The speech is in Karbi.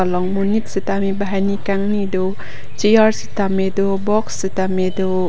long monit sitame banghini kangni do chair sitame do box sitame do.